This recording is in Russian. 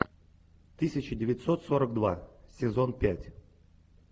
тысяча девятьсот сорок два сезон пять